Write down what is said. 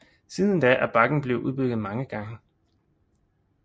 Siden da er bakken blevet udbygget mange gange